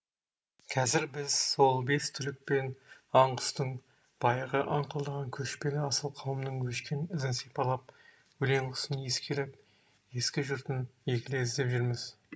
қазір біз сол бес түлік пен аң құстың баяғы аңқылдаған көшпелі асыл қауымның өшкен ізін сипалап өлең кұсын иіскелеп ескі жұртын егіле іздеп жүрміз